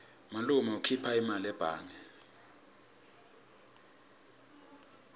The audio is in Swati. malume ukhipha imali ebhange